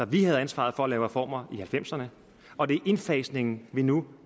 vi havde ansvaret for at lave reformer i halvfemserne og det er indfasningen vi nu